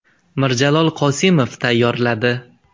Mirjalol Qosimov tayyorladi .